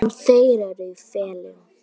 En þeir eru í felum!